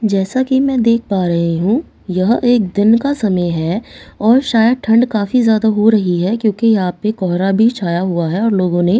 जैसा कि मैं देख पा रही हूँ यह एक दिन का समय है और शायद ठंड काफ़ी ज्यादा हो रहीं है क्योंकि यहाँ पे कोहरा भी छाया हुआ है और लोगों ने--